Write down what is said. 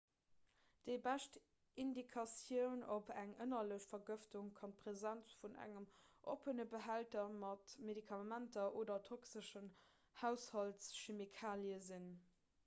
déi bescht indikatioun op eng ënnerlech vergëftung kann d'präsenz vun engem oppene behälter mat medikamenter oder toxeschen haushaltschemikalie sinn